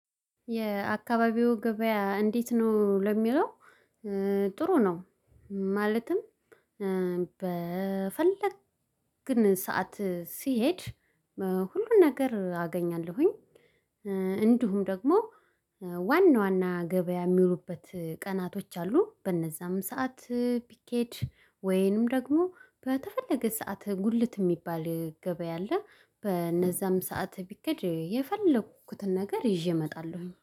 የአካባቢው ገበያ እንዴት ነው? ለሚለው ጥሩ ነው። ማለትም በፈለግን ሰዓት ሲሄድ ሁሉን ነገር አገኛለሁኝ። እንዲሁም ደግሞ ዋና ዋና ገበያ የሚዉሉበት ቀናቶች አሉ በእነዛም ሰዓት ቢኬድ ወይንም ደግሞ በተፈለገ ሰዓት ጉልት የሚባል ገበያ አለ። በነዛም ሰዓት ቢክድ የፈለኩትን ነገር ይዤ እመጣለሁኝ